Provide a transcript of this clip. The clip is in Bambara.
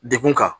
Degun kan